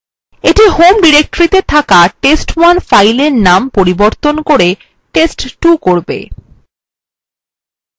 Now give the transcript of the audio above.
এইটি home ডিরেক্টরিতে থাকা test1 fileএর named পরিবর্তন করে test2 করবে